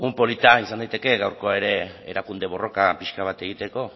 polita izan daiteke gaurkoa ere erakunde borroka pixka bat egiteko